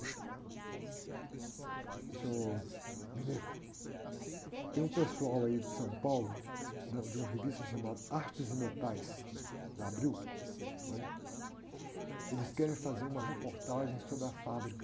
Ôh, senhor, tem um pessoal aí de São Paulo, da, de uma revista chamada Artes e Metais, da Abril, né? Eles querem fazer uma reportagem sobre a fábrica.